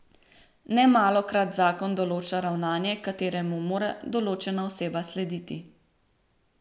Nemalokrat zakon določa ravnanje, kateremu mora določena oseba slediti.